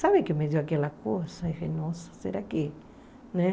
Sabe que me deu aquela coisa, nossa, será que, né?